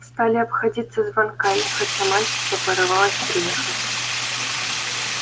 стали обходиться звонками хотя мать всё порывалась приехать